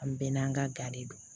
An bɛɛ n'an ka ga de don